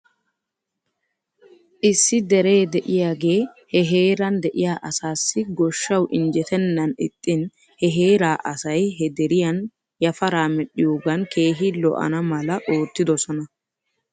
Issi deree de'iyaagee he heeran de'iyaa asaassi goshshaw injjetennan ixxin he heeraa asay he deriyaan yafaraa medhdhiyoogan keehi lo'ana mala oottidosona.